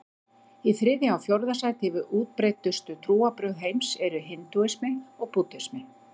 Í þriðja og fjórða sæti yfir útbreiddustu trúarbrögð heims eru hindúismi og búddismi.